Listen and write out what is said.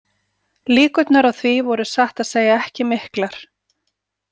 Líkurnar á því voru satt að segja ekki miklar.